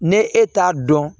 Ne e t'a dɔn